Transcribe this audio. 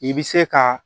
I bɛ se ka